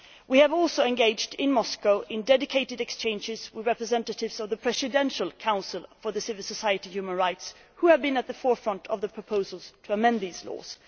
We have also engaged in Moscow in dedicated exchanges with representatives of the Presidential Council for Civil Society and Human Rights, who have been at the forefront of the proposals to amend these laws.